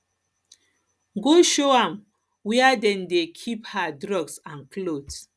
go show am where dem dey keep her drugs and cloths